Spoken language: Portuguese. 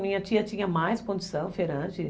Minha tia tinha mais condição, feirante.